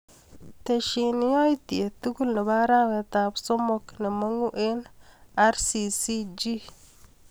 Tesyi yatyet tukul nebo arawetap somok nemang'u eng RCCG.